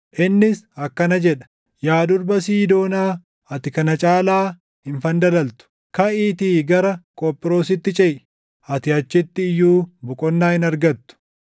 Innis akkana jedha; “Yaa Durba Siidoonaa, ati kana caalaa hin fandalaltu! “Kaʼiitii gara Qophiroositti ceʼi; ati achitti iyyuu boqonnaa hin argattu.”